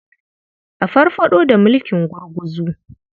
A farfaɗo da mulkin gurguzu.